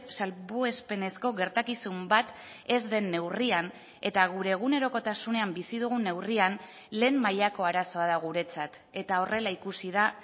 salbuespenezko gertakizun bat ez den neurrian eta gure egunerokotasunean bizi dugun neurrian lehen mailako arazoa da guretzat eta horrela ikusi da